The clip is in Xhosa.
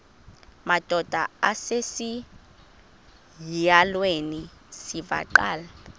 madod asesihialweni sivaqal